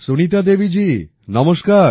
সুনীতা দেবীজী নমস্কার